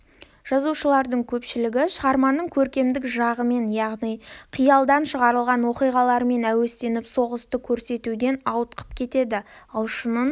жазушылардың көпшілігі шығарманың көркемдік жағымен яғни қиялдан шығарылған оқиғалармен әуестеніп соғысты көрсетуден ауытқып кетеді ал шынын